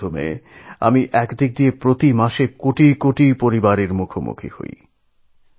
রেডিওর মাধ্যমে প্রত্যেক মাসে কোটি কোটি পরিবারের সঙ্গে আমি মুখোমুখি হই